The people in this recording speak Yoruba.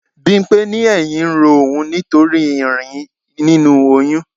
Bimpe ní ẹyin ń ro òun nítorí irin nínú oyún.